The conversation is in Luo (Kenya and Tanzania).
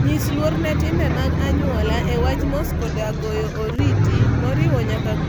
Nyis luor ne timbe mag anyuola e wach mos koda goyo oriti, moriwo nyaka kulruok kata mako lwet ng'ato.